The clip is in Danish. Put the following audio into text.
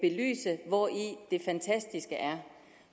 belyse hvori det fantastiske er